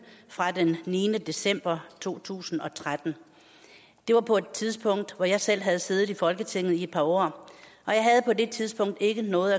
fra den niende december to tusind og tretten det var på et tidspunkt hvor jeg selv havde siddet i folketinget i et par år og jeg havde på det tidspunkt ikke noget